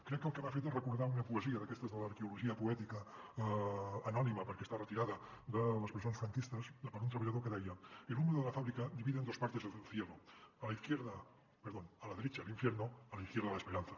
crec que el que m’ha fet és recordar una poesia d’aquestes de l’arqueologia poètica anònima perquè està re·tirada de les presons franquistes d’un treballador que deia el humo de la fábrica divide en dos partes el cielo a la derecha el infierno a la izquierda la esperanza